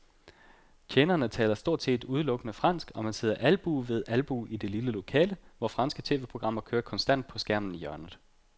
Tjenerne taler stort set udelukkende fransk, og man sidder albue ved albue i det lille lokale, hvor franske tv-programmer kører konstant på skærmen i hjørnet.